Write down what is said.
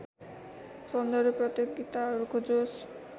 सौन्दर्य प्रतियोगिताहरूको जोस